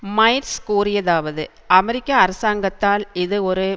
Myers கூறியதாவது அமெரிக்க அரசாங்கத்தால் இது ஒரு